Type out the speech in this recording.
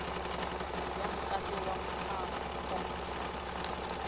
ya mokato wa moaho oo